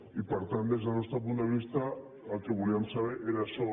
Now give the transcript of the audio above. i per tant des del nostre punt de vista el que volíem saber era això